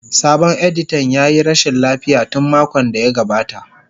Sabon editan ya yi rashin lafiya tun makon da ya gabata.